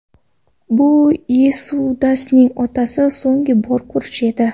Bu Yesudasning otasini so‘nggi bor ko‘rishi edi.